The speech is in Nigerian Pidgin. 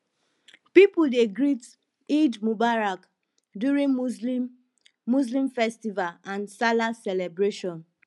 pipo dey greet eid mubarak during muslim muslim festival and salah celebration